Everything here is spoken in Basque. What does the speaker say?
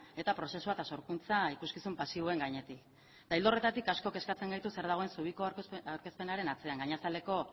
eta prozesua eta sorkuntza ikuskizun pasiboen gainetik eta ildo horretatik asko kezkatzen gaitu zer dagoen zubiko aurkezpenaren atzean gainazaleko